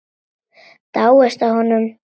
Dáist að honum.